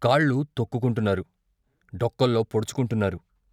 కాళ్లు తొక్కుకుంటున్నారు, డొక్కల్లో పొడుచుకుంటున్నారు.